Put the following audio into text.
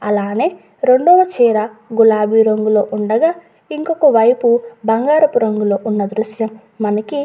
అలాగే రెండవ చీర గులాబీ రంగులో ఉండగా ఇంకొక వైపు బంగారపు రంగులో ఉన్న దృశ్యం మనకి.